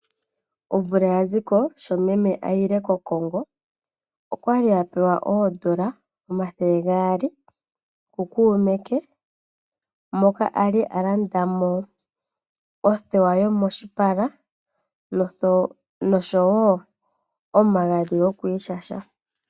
Omvula ya ziko sho meme a yile kOkongo okwali a pewa oondola omathele gaali ku kuume ke moka Ali a land mo othewa yomoshipala oshowo omagadhi gokwiishasha.